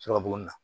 Sɔrɔ b'o na